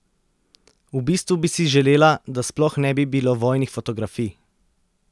V bistvu bi si želela, da sploh ne bi bilo vojnih fotografij!